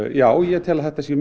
já ég tel að þetta sé